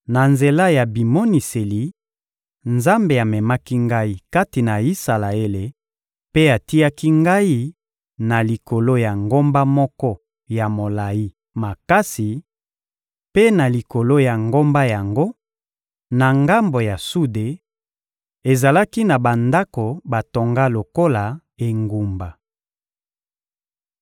Na nzela ya bimoniseli, Nzambe amemaki ngai kati na Isalaele mpe atiaki ngai na likolo ya ngomba moko ya molayi makasi; mpe na likolo ya ngomba yango, na ngambo ya sude, ezalaki na bandako batonga lokola engumba.